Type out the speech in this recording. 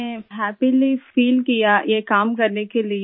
मैं happily feel किया ये काम करने के लिए